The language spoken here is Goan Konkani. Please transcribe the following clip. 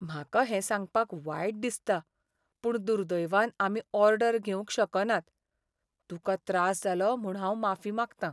म्हाका हें सांगपाक वायट दिसता, पूण दुर्दैवान आमी ऑर्डर घेवंक शकनात. तुका त्रास जालो म्हूण हांव माफी मागतां.